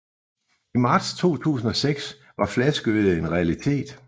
I marts 2006 var flaskeøllet en realitet